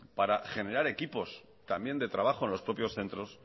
para generar equipos también de trabajo en los propios centros